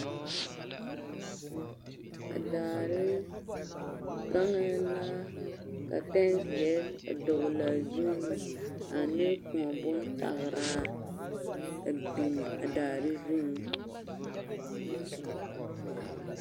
A daare gaŋɛɛ la ka pɛnzeɛ a dɔgelaa zuŋ ane kõɔ bontageraa a biŋ a daare zuŋ.